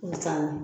Misali